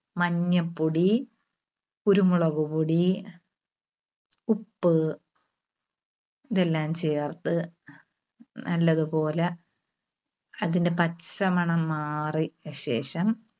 മഞ്ഞപ്പൊടി, കുരുമുളകുപൊടി, ഉപ്പ് ഇതെല്ലാം ചേർത്ത് നല്ലതുപോലെ അതിന്റെ പച്ച മണം മാറി~യശേഷം